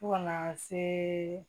Fo kana se